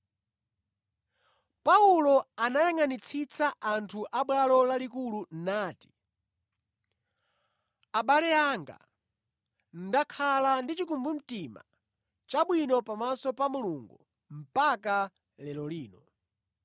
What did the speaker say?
Paulo anayangʼanitsitsa anthu a Bwalo Lalikulu nati, “Abale anga, ndakhala ndi chikumbumtima chabwino pamaso pa Mulungu mpaka lero lino.”